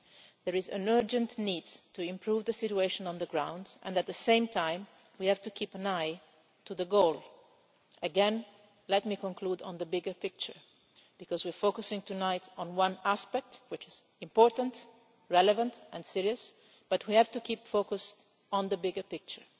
There is an urgent need to improve the situation on the ground, and at the same time we have to keep an eye on the goal. Again, let me conclude on the bigger picture, because we are focusing tonight on one aspect which is important, relevant and serious, but we have to keep focused on the bigger picture.